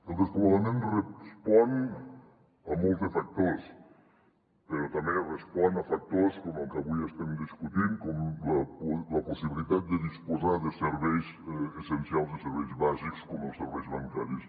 el despoblament respon a molts factors però també respon a factors com el que avui estem discutint com la possibilitat de disposar de serveis essencials de serveis bàsics com els serveis bancaris